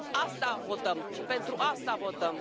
Asta votăm, pentru asta votăm.